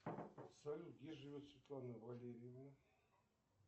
салют где живет светлана валерьевна